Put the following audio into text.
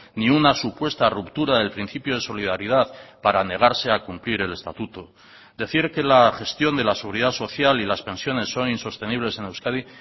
ni una supuesta ruptura del principio de solidaridad para negarse a cumplir el estatuto decir que la gestión de la seguridad social y las pensiones son insostenibles en euskadi